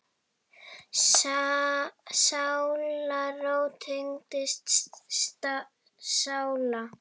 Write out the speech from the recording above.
Sálarró tengdra sála.